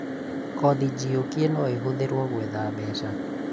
kothi njiũkie no ĩhũthĩrwo gwetha mbeca